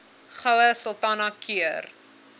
goue sultana keur